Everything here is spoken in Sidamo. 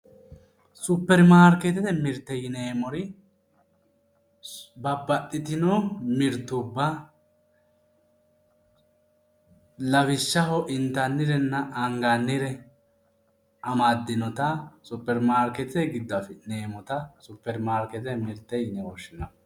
Supeirmaarkeetete mirte yineemmori babbaxxitino mirtubba lawishshaho intannirenna angannire amaddinotaSupeirmaarkeetete giddo afi'neemmota Supeirmaarkeetete yine woshshineemmo.